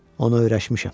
Ona öyrəşmişəm.